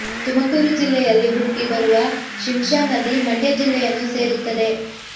ತುಮಕೂರು ಜಿಲ್ಲೆಯಲ್ಲಿ ಹುಟ್ಟಿ ಬರುವ ಶಿಂಶಾ ನದಿ ಮಂಡ್ಯ ಜಿಲ್ಲೆಯನ್ನು ಸೇರುತ್ತದೆ